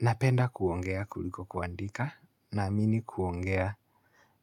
Napenda kuongea kuliko kuandika naamini kuongea